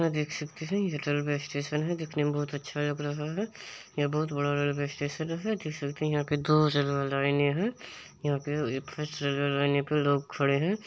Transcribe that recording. यहां देख सकते हैं यह रेलवे स्टेशन है देखने में बहुत ही अच्छा लग रहा है यह बहुत बड़ा रेलवे स्टेशन है देख सकते है जैसे यहाँ पे दो रेलवे लाइने है यहाँ पे फर्स्ट लाइन पे लोग खड़े है।